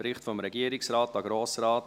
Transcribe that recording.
Bericht des Regierungsrates an den Grossen